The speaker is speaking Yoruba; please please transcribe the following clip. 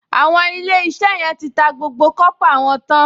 Àwọn Ilé-iṣẹ́ yẹn ti ta gbogbo kọ́pà wọn tán